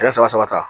A ye saba saba ta